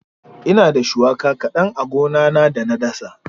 Ina da shuwaka kaɗan a gona na da na dasa.